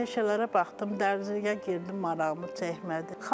Peşələrə baxdım, dərzliyə girdim, marağımı çəkmədi.